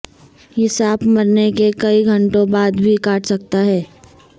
یہ سانپ مرنے کے کئی گھنٹوں بعد بھی کاٹ سکتا ہے